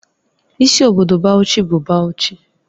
Isi obodo Bauchi bụ Bauchi